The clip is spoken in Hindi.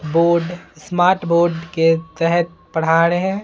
बोर्ड स्मार्ट बोर्ड के तहत पढ़ा रहे हैं।